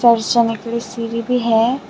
और चढ़ने के लिए सीढ़ी भी है।